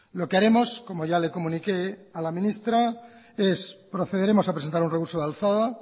lo que haremos como ya le comuniqué a la ministra es procederemos a presentar un recurso de alzada